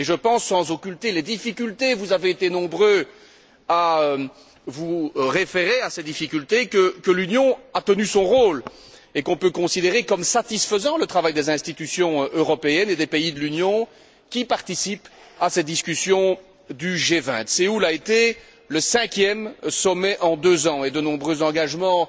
Je pense, sans occulter les difficultés vous avez été nombreux à vous référer à ces difficultés que l'Union a tenu son rôle et qu'on peut considérer comme satisfaisant le travail des institutions européennes et des pays de l'Union, qui participent à ces discussions du G20. Séoul a été le cinquième sommet en deux ans et de nombreux engagements